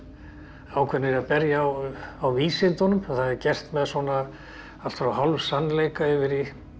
ákveðnir í að berja á á vísundunum það er gert með allt frá hálfsannleika yfir í